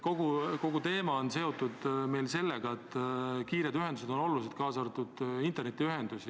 Kogu aeg on räägitud, et kiired ühendused on olulised, kaasa arvatud internetiühendus.